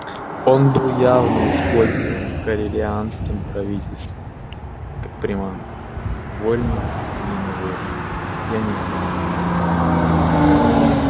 он был явно использован корелианским правительством как приманка вольно или невольно я не знаю